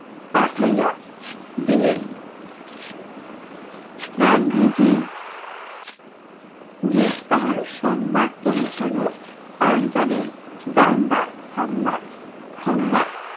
পাঠাইয়া দিলেন। গান্ধীজি গ্রেফতার সংবাদ পৌছানো পাঞ্জাবের দাঙ্গা হামলা হাঙ্গা